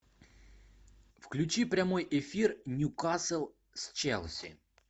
включи прямой эфир ньюкасл с челси